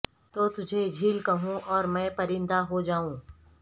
تو تجھے جھیل کہوں اور میں پرندہ ہو جائوں